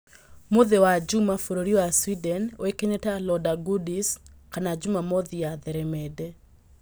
Mũthĩ wa njuuma bũrũri wa Sweden ũĩkaine ta "Lördagsgodis" kana jumamothi ya theremende